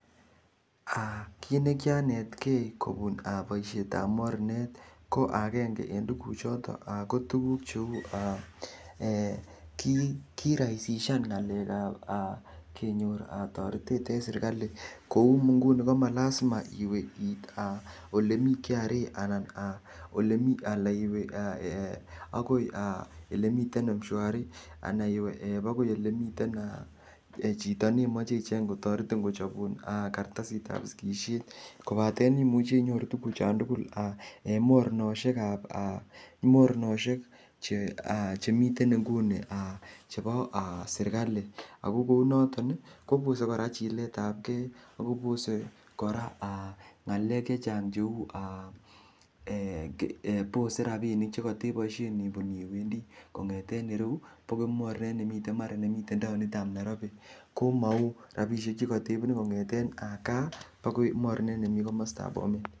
Kit ne kianetkei kobun boisiet ab mornet ko agenge en tuguchoto ko tuguk cheu: kirahisishan ng'alek ab kenyor toretet en serkalit, kou nguni komalazima iwe it ole mi KRA, ala agoi ele miten M-Shwari anan iwe agoi ele mien chito neimoche icheng kochobun kartasit ab sigisiet. KObaten imuce inyoru tuguchon tugul en mornosiek ab mornosiek chemiten nguni chebo serkalit. Ago kou noton kobose kora chilet ab ge ago bose kora ng'alek chechang cheu, bose rabishek che koteboishen ibun iwendi kong'eten ireyu agoi mornet nemiten taonit ab Nairobi komou rabishek che kotebune kong'eten gaa agoi mornet nemi komosta nebo Bomet.